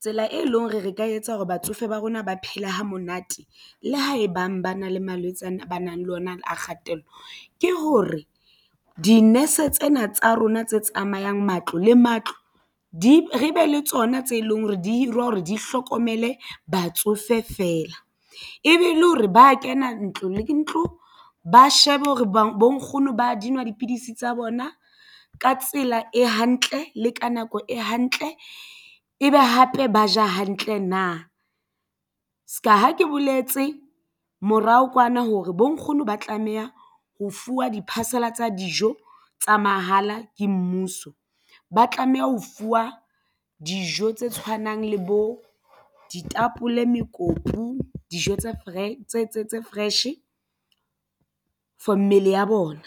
Tsela e leng hore re ka etsa hore batsofe ba rona ba phele ha monate le ha e bang ba na le malwetse a ba nang le ona a kgatello ke hore di-nurse tsena tsa rona tse tsamayang matlo le matlo di re be le tsona tse leng hore di hirwa hore di hlokomele batsofe feela ebe le hore ba kena ntlo le ntlo ba shebe hore bo nkgono ba di nwa dipidisi tsa bona ka tsela e hantle le ka nako e hantle e be hape ba ja hantle na se ka ha ke boletse morao kwana hore bo nkgono ba tlameha ho fuwa di-parcel-a tsa dijo tsa mahala ke mmuso. Ba tlameha ho fuwa dijo tse tshwanang le bo ditapole mekopu dijo tse fresh for mmele ya bona.